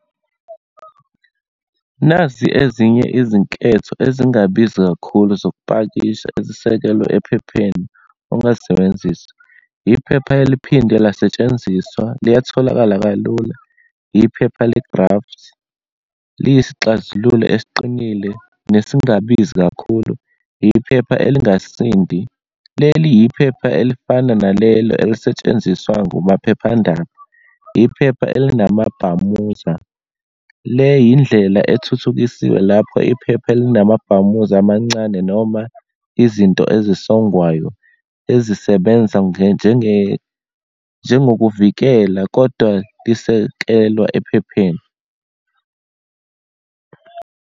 Nazi ezinye izinketho ezingabizi kakhulu zokupakisha, ezisekelwe ephepheni ongazisebenzisa. Yiphepha eliphinde lasetshenziswa, liyatholakala kalula. Yiphepha le-graft, liyisixazululo esiqinile nesingabizi kakhulu. Yiphepha elingasindi, leli yiphepha elifana nalelo elisetshenziswa kumaphephandaba. Yiphepha elinamabhamuza, le yindlela ethuthukisiwe lapho iphepha elinamabhamuza amancane, noma izinto ezisongwwayo ezisebenza njengokuvikela, kodwa lisekelwa ephepheni.